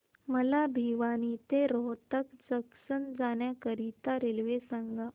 मला भिवानी ते रोहतक जंक्शन जाण्या करीता रेल्वे सांगा